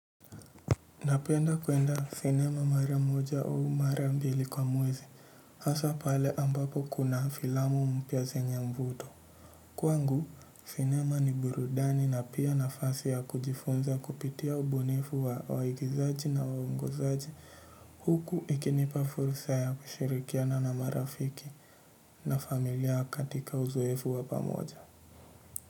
Napenda kwenda cinema mara moja au mara mbili kwa mwezi hasaa pale ambapo kuna filamu mpya zenye mvuto. Kwangu, cinema ni burudani na pia nafasi ya kujifunza kupitia ubunifu wa waigizaji na waongozaji huku ikinipa fursa ya kushirikiana na marafiki na familia katika uzoefu wa pamoja.